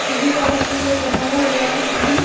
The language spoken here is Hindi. सीढ़ी जाने के लिए बनाया हुआ है सीढ़ी।